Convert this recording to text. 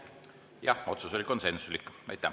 Jah, otsus oli konsensuslik.